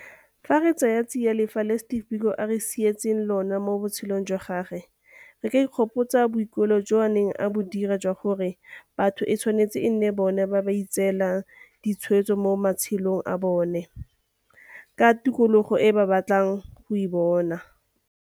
Fa re tsaya tsiya lefa leo Steve Biko a re sietseng lona mo botshelong jwa gagwe, re ka ikgopotsa boikuelo jo a neng a bo dira jwa gore batho e tshwanetse e nne bona ba ba itseelang ditshwetso mo matshelong a bona ka tokologo e ba batlang go e bona.